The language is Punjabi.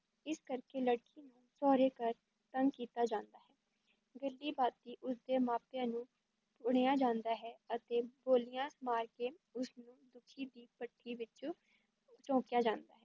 ਇਸ ਕਰਕੇ ਲੜਕੀ ਨੂੰ ਸਹੁਰੇ ਘਰ ਤੰਗ ਕੀਤਾ ਜਾਂਦਾ ਹੈ, ਗੱਲੀਂ-ਬਾਤੀਂ ਉਸ ਦੇ ਮਾਪਿਆਂ ਨੂੰ ਪੁਣਿਆ ਜਾਂਦਾ ਹੈ ਅਤੇ ਬੋਲੀਆਂ ਮਾਰ ਕੇ ਉਸ ਨੂੰ ਦੁੱਖੀ ਦੀ ਭੱਠੀ ਵਿਚ ਝੋਂਕਿਆ ਜਾਂਦਾ ਹੈ।